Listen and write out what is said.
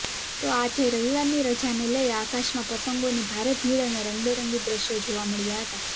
તો આજે રવિવારની રજાને લઇ આકાશમાં પતંગોની ભારે ભીડ અને રંગેબરંગી દ્રશ્યો જોવા મળ્યા હતા